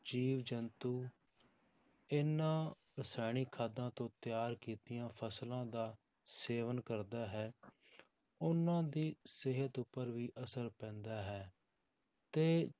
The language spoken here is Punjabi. ਜੀਵ ਜੰਤੂ ਇਹਨਾਂ ਰਸਾਇਣਿਕ ਖਾਦਾਂ ਤੋਂ ਤਿਆਰ ਕੀਤੀਆਂ ਫਸਲਾਂ ਦਾ ਸੇਵਨ ਕਰਦਾ ਹੈ ਉਹਨਾਂ ਦੀ ਸਿਹਤ ਉੱਪਰ ਵੀ ਅਸਰ ਪੈਂਦਾ ਹੈ, ਤੇ